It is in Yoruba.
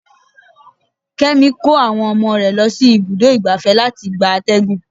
Kémi kó àwọn ọmọ rẹ lọ sí ibùdó igbàfẹ́ láti gba àtẹ̀gùn.